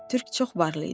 Türk çox varlı idi.